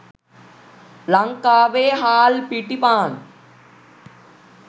ලංකාවේ හාල් පිටි පාන්